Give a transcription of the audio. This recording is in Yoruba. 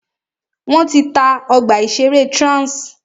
Wọ́n ti ta ọgbà ìṣẹ̀rẹ́ Trans.